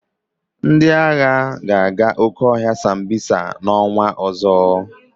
Ndị agha ga-aga oke ọhịa Sambisa n'ọnwa ọzọ.